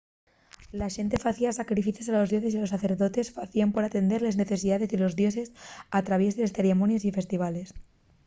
la xente facía sacrificios a los dioses y los sacerdotes facíen por atender les necesidaes de los dioses al traviés de ceremonies y festivales